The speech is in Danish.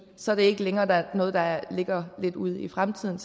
så er det ikke længere noget der ligger lidt ude i fremtiden